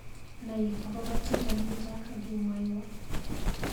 Nai akobo tyendo nito akimwawa.